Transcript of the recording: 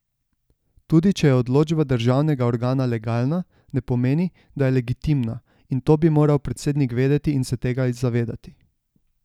Tudi če je odločba državnega organa legalna, ne pomeni, da je legitimna, in to bi moral predsednik vedeti in se tega zavedati.